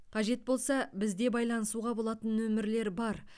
қажет болса бізде байланысуға болатын нөмірлер бар